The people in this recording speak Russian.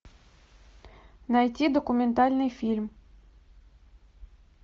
найти документальный фильм